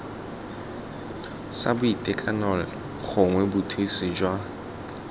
sa boitekanelo gongwe bothusi jwa